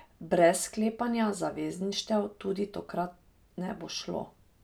Brez sklepanja zavezništev tudi tokrat ne bo šlo.